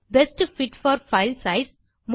best fit for file size